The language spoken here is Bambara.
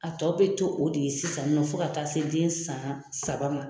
A tɔ bɛ to o de ye sisan nɔ fo ka taa se den san saba ma.